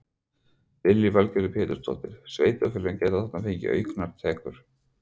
Lillý Valgerður Pétursdóttir: Sveitarfélögin geta þarna fengið auknar tekjur?